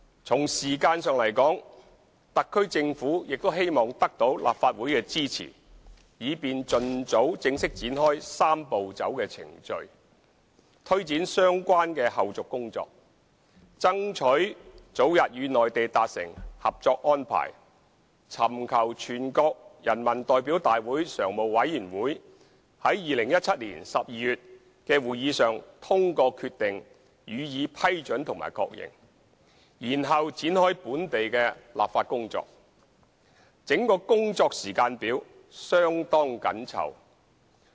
從時間上來說，特區政府亦希望得到立法會的支持，以便盡早正式展開"三步走"的程序，推展相關的後續工作，爭取早日與內地達成《合作安排》，尋求全國人民代表大會常務委員會於2017年12月的會議上通過決定予以批准及確認，然後展開本地立法工作，整個工作時間表相當緊湊。